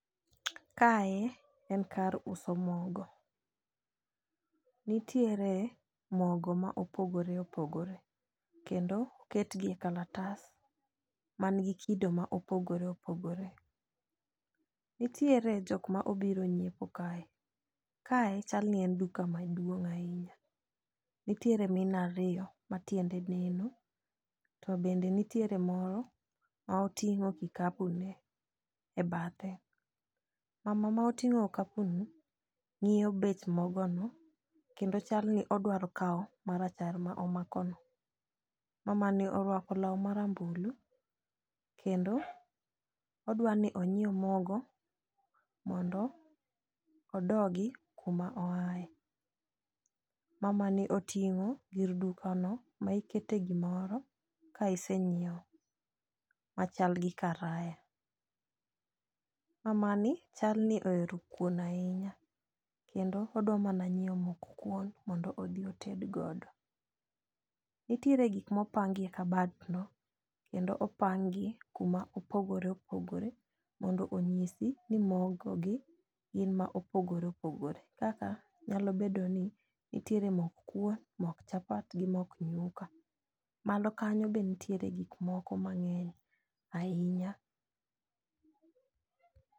Kae en kar uso mogo. Nitiere mogo ma opogore opogore kendo oket gi e kalatas man gi kido ma opogore opogore. Nitiere jok ma obiro nyiepo kae kae chal ni en duka maduong' ahinya . Nitiere mine ariyo ma tiende neno to bende nitiere moro ma oting'o kikapu ne e bathe mama ma otingo kikapu ni ng'iyo bech mogo ni kendo chal ni dwaro kawao marachar ma omako no. Mama ni orwako law marambulu kendo odwani onyiew mogo mondo odogi kuma oaye. Mama ni oting'o gir duka no ma ikete gimoro ka isenyiewo machal gi karaya. Mama ni chal ni ohero kuon ahinya kendo odwa mana nyiewo mok kuon mondo odhi oted godo .Nitiere gik mopangi e kabat no kendo opangi kuma opogore opogore mondo onyisi ni mogo gi gin ma opogore opogore kaka nyalo bedo ni nitiere mok kuon, mok chapat gi mok nyuka. Malo kanyo be ntie gik moko mang'eny ahinya.